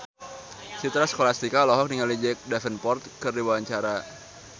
Citra Scholastika olohok ningali Jack Davenport keur diwawancara